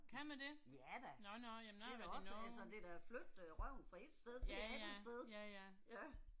Kan man det? Nåh nåh, jamen jeg har været i Norge. Ja ja, ja ja